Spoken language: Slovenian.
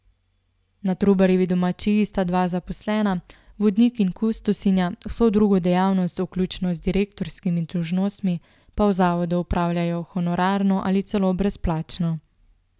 Na Trubarjevi domačiji sta dva zaposlena, vodnik in kustosinja, vso drugo dejavnost, vključno z direktorskimi dolžnostmi, pa v zavodu opravljajo honorarno ali celo brezplačno.